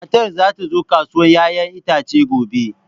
Matar za ta zo kasuwar 'ya'yan itace gobe.